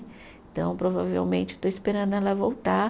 Então, provavelmente, estou esperando ela voltar.